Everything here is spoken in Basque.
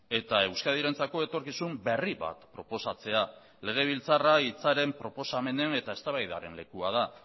eta euskadirentzako etorkizun berri bat proposatzea legebiltzarra hitzaren proposamenen eta eztabaidaren lekua da